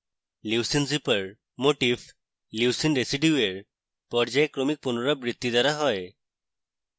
leucine zipper motif leucine রেসিডিউয়ের পর্যায়ক্রমিক পুনরাবৃত্তি দ্বারা হয়